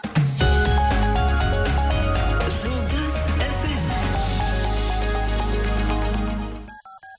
жұлдыз эф эм